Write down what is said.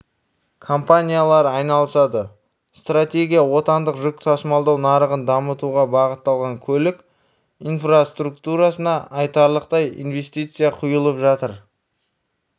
компаниялар айналысады стратегия отандық жүк тасымалдау нарығын дамытуға бағытталған көлік инфраструктурасына айтарлықтай инвестиция құйылып жатыр